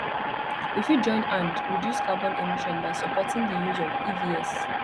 we fit join hand reduce carbon emission by supporting di use of evs